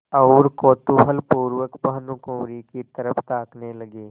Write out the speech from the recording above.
और कौतूहलपूर्वक भानुकुँवरि की तरफ ताकने लगे